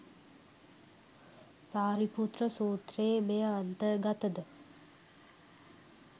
සාරිපුත්‍ර සූත්‍රයේ මෙය අන්තර් ගතද?